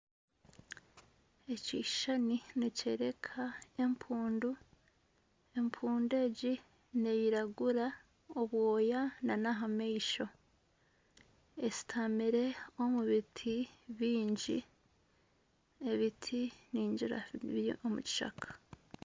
Ekishushani nikyoreka empundu, empundu egi neyiragura obwoya nana aha maisho eshutamire omu biti byingi, ebiti biri omu kishaka .